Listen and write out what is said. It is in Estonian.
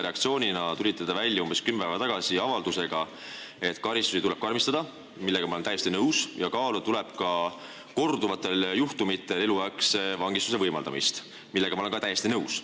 Reaktsioonina sellele tulite te umbes kümme päeva tagasi välja avaldusega, et karistusi tuleb karmistada – ma olen sellega täiesti nõus – ja kaaluda tuleb ka korduvatel juhtumitel eluaegse vangistuse võimaldamist – sellega olen ka nõus.